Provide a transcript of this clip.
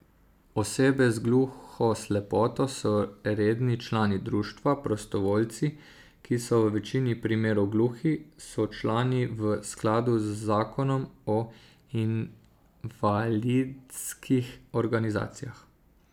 Osebe z gluhoslepoto so redni člani društva, prostovoljci, ki so v večini primerov gluhi, so člani v skladu z zakonom o invalidskih organizacijah.